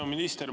Hea minister!